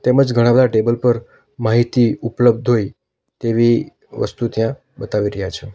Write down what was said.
તેમજ ઘણા બધા ટેબલ પર માહિતી ઉપલબ્ધ હોય તેવી વસ્તુ ત્યાં બતાવી રહ્યા છે.